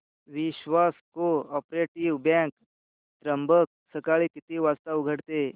विश्वास cooperative bank Trimbak सकाळी किती वाजता उघडते